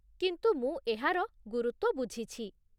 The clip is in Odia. କିନ୍ତୁ ମୁଁ ଏହାର ଗୁରୁତ୍ୱ ବୁଝିଛି